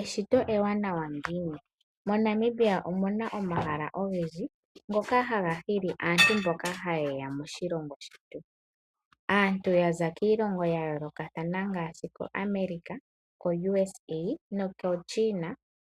Eshito ewanawa ngiini! MoNamibia omu na omahala ogendji ngoka ha ga hili aantu mboka ha yeya moshilongo shetu. Aantu yaza kiilongo ya yoolokathana ngaashi ko Amerika, koUSA, noko China